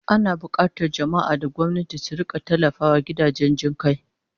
Ana bukatar jama'a da gwamnati su rika tallafawa gidajen jin kai